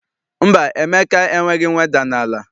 Mba, Emeka enweghị mweda n'ala.